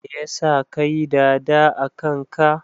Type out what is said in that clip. Me yasa ka yi"dada" akan ka?